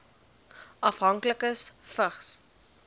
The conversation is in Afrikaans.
afhanklikes vigs